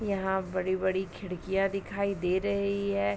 यहाँ बड़ी-बड़ी खिड़कियाँ दिखाई दे रही है ।